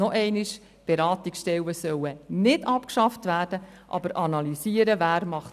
Noch einmal: Die Beratungsstellen sollen nicht abgeschafft werden, aber es muss analysiert werden, wer was macht.